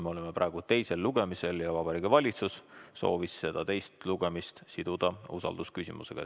Me oleme praegu teisel lugemisel ja Vabariigi Valitsus soovis selle siduda usaldusküsimusega.